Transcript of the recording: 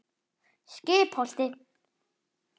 Skipholti